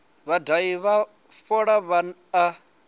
vhadahi vha fola vha a